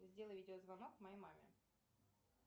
сделай видеозвонок моей маме